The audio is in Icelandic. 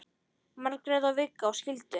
Margrét og Viggó skildu.